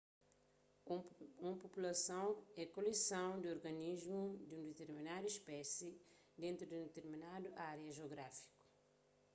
un populason é koleson di organismus di un ditirminadu spési dentu di un ditirminadu ária jiográfiku